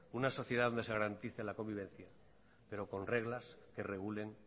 una sociedad donde se garantice la convivencia pero con reglas que regulen